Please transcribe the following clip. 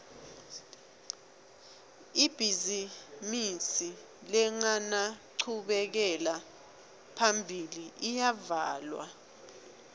ibhizimisi lengenanchubekela phambili iyavalwa